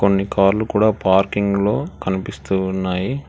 కొన్ని కాళ్లు కూడా పార్కింగ్లో కనిపిస్తూ ఉన్నాయి.